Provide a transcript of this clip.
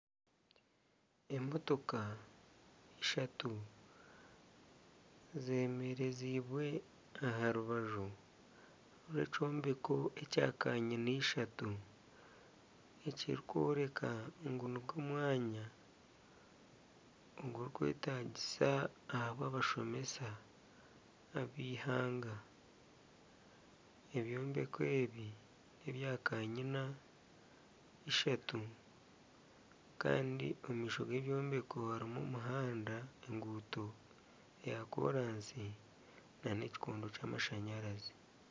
Emotoka ishatu zeemereziibwe aha rubaju rw'ekyombeko ekya kanyina ishatu ekirikworeka ngu nigwo omwanya ogurikwetaagisa ahabwa abashomesa ab'eihanga ebyombeko ebi n'ebyakanyina ishatu kandi omu maisho g'ebyombeko harimu omuhanda enguuto eya koraasi nana ekikondo ky'amashanyarazi